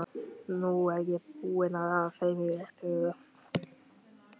Nú er ég búinn að raða þeim í rétta röð.